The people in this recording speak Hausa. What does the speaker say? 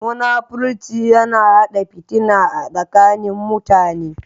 Munafurci yana hada fitina a tsakanin Mutane.